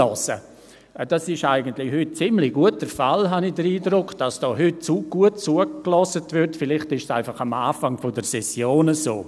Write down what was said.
Dies ist, wie ich den Eindruck habe, heute ziemlich gut der Fall, das heisst, dass heute gut zugehört wird, aber vielleicht ist dies einfach zu Beginn der Session so.